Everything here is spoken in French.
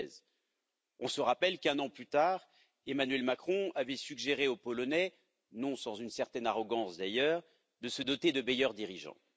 2016. On se rappelle qu'un an plus tard, Emmanuel Macron avait suggéré aux Polonais non sans une certaine arrogance, d'ailleurs de se doter de meilleurs dirigeants.